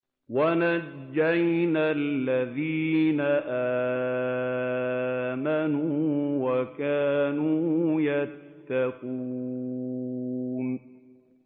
وَنَجَّيْنَا الَّذِينَ آمَنُوا وَكَانُوا يَتَّقُونَ